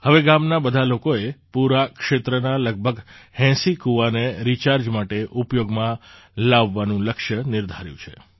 હવે ગામના બધા લોકોએ પૂરા ક્ષેત્રના લગભગ ૮૦ કુવાને રિચાર્જ માટે ઉપયોગમાં લાવવાનું લક્ષ્ય નિર્ધાર્યું છે